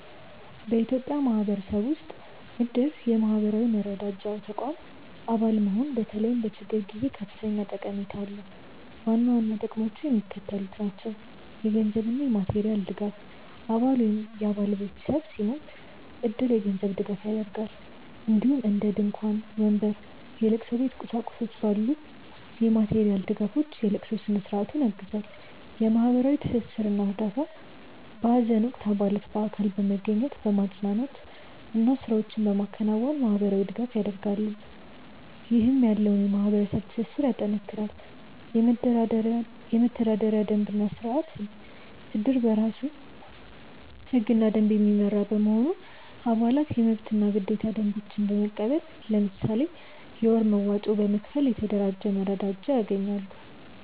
በኢትዮጵያ ማህበረሰብ ውስጥ እድር (የማህበራዊ መረዳጃ ተቋም) አባል መሆን በተለይም በችግር ጊዜ ከፍተኛ ጠቀሜታ አለው። ዋና ዋና ጥቅሞቹ የሚከተሉት ናቸው - የገንዘብ እና የማቴሪያል ድጋፍ: አባል ወይም የአባል ቤተሰብ ሲሞት እድር የገንዘብ ድጋፍ ያደርጋል፣ እንዲሁም እንደ ድንኳን፣ ወንበር፣ የለቅሶ ቤት ቁሳቁሶች ባሉ የማቴሪያል ድጋፎች የለቅሶ ስነ-ስርዓቱን ያግዛል። የማህበራዊ ትስስር እና እርዳታ: በሀዘን ወቅት አባላት በአካል በመገኘት፣ በማፅናናት እና ስራዎችን በማከናወን ማህበራዊ ድጋፍ ያደርጋሉ፣ ይህም ያለውን የማህበረሰብ ትስስር ያጠናክራል። የመተዳደሪያ ደንብ እና ስርአት: እድር በራሱ ህግና ደንብ የሚመራ በመሆኑ፣ አባላት የመብትና ግዴታ ደንቦችን በመቀበል፣ ለምሳሌ የወር መዋጮ በመክፈል፣ የተደራጀ መረዳጃ ያገኛሉ።